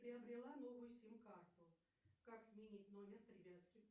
приобрела новую сим карту как сменить номер привязки